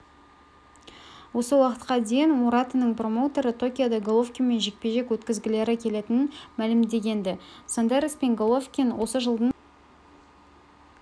осы уақытқа дейін муратаның промоутері токиода головкинмен жекпе-жек өткізгілері келетінін мәлімдеген-ді ал сондерспен головкин осы жылдың